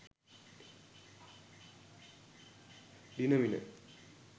dinamina